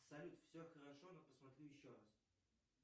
салют все хорошо но посмотрю еще раз